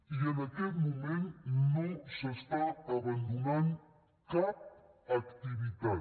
i en aquest moment no s’està abandonant cap activitat